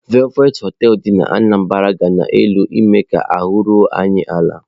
Velvet hotel dị n'Anambra gara n'elu ime ka ahụ́ ruo anyị ala.